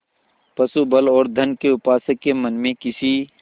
पशुबल और धन के उपासक के मन में किसी